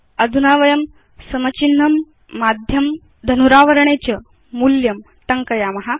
अधुना वयं is equal to माध्यं धनुरावरणे च मूल्यं टङ्कयाम